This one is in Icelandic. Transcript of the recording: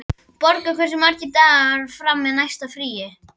Borgar, hversu margir dagar fram að næsta fríi?